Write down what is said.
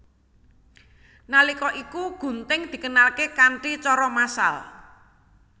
Nalika iku gunting dikenalké kanthi cara massal